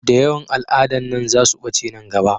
Da yawan al'adan nan za su ɓace nan gaba